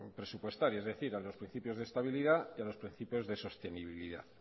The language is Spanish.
presupuestaria es decir a los principios de estabilidad y a los principios de sostenibilidad